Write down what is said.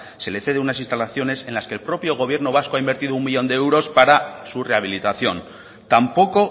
se le ceden unas instalaciones en las que el propio gobierno vasco ha invertido uno millón de euros para su rehabilitación tampoco